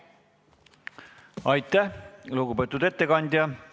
Aitäh, lugupeetud ettekandja!